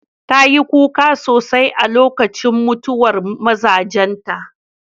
Ta yi kuka sosai a lokacin mutuwar mazajenta.